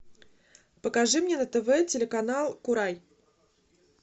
покажи мне на тв телеканал курай